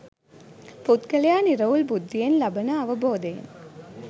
පුද්ගලයා නිරවුල් බුද්ධියෙන් ලබන අවබෝධයෙන්